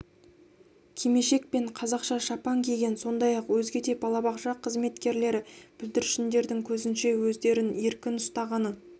кимешек пен қазақша шапан киген сондай-ақ өзге де балабақша қызметкерлері бүлдіршіндердің көзінше өздерін еркін ұстағаны